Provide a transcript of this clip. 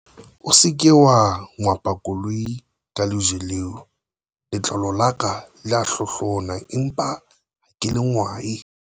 o se ke wa ngwapa koloi ka lejwe leo, letlalo la ka le a hlohlona empa ha ke le ngwae